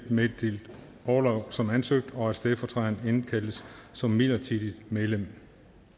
meddeles orlov som ansøgt og at stedfortræderen indkaldes som midlertidigt medlem